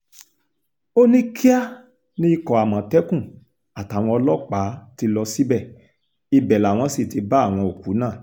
ó ní kíá ni ikọ̀ àmọ̀tẹ́kùn àtàwọn ọlọ́pàá ti lọ síbẹ̀ ibẹ̀ làwọn sì ti bá àwọn òkú náà